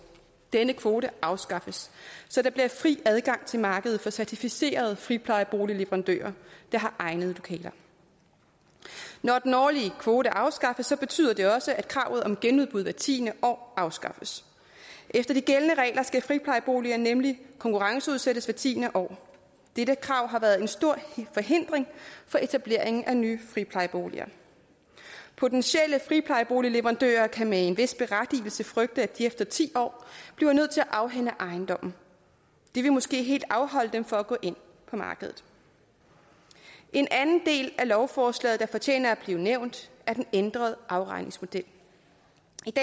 denne kvote afskaffes så der bliver fri adgang til markedet for certificerede friplejeboligleverandører der har egnede lokaler når den årlige kvote afskaffes betyder det også at kravet om genudbud hvert tiende år afskaffes efter de gældende regler skal friplejeboliger nemlig konkurrenceudsættes hvert tiende år dette krav har været en stor forhindring for etableringen af nye friplejeboliger potentielle friplejeboligleverandører kan med en vis berettigelse frygte at de efter ti år bliver nødt til at afhænde ejendommen det vil måske helt afholde dem fra at gå ind på markedet en anden del af lovforslaget der fortjener at blive nævnt er den ændrede afregningsmodel